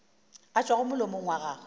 a tšwago molomong wa gago